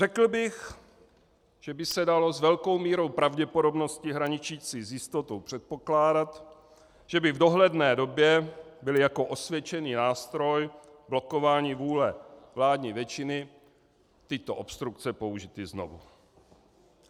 Řekl bych, že by se dalo s velkou mírou pravděpodobnosti hraničící s jistotou předpokládat, že by v dohledné době byly jako osvědčený nástroj blokování vůle vládní většiny tyto obstrukce použity znovu.